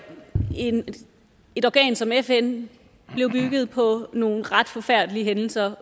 et organ som fn blev bygget på nogle ret forfærdelige hændelser